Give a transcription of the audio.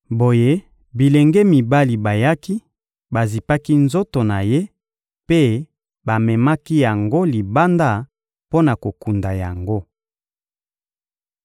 Boye, bilenge mibali bayaki, bazipaki nzoto na ye mpe bamemaki yango libanda mpo na kokunda yango.